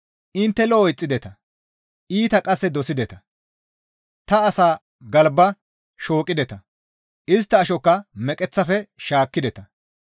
Intte lo7o ixxideta; iita qasse dosideta; ta asaa galba shooqideta; istta ashokka meqeththafe shaakkideta.